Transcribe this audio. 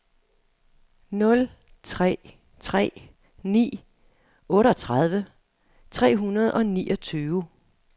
nul tre tre ni otteogtredive tre hundrede og niogtyve